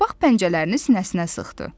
Qabaq pəncələrini sinəsinə sıxdı.